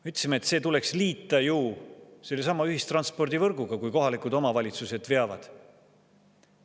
Me ütlesime, et tuleks liita sellesama ühistranspordivõrguga, kui kohalikud omavalitsused neid veavad.